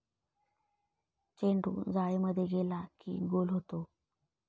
चेंडू जाळीमध्ये गेला की गोल होतो.